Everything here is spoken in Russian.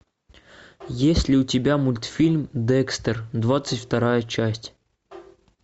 есть ли у тебя мультфильм декстер двадцать вторая часть